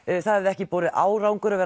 það hefði ekki borið árangur